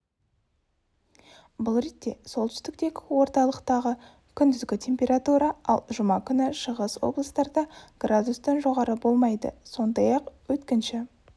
бұл ретте солтүстіктегі орталықтағы күндізгі температура ал жұма күні шығыс облыстарда градустан жоғары болмайды сондай-ақ өткінші